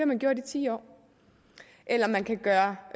man gjort i ti år eller man kan gøre